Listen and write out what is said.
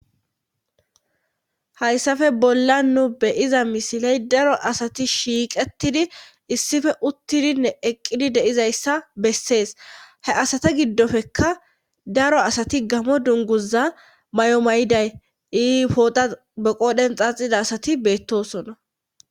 Hayssafe bolla nu beyiza misiley daro asati shiiqetidi issife uttidinne eqqidi deizayssa bessees he asata giddofekka daro asati gamo dunguza may7o may7iday ii poota beqoodhen xaaxida asati beettosona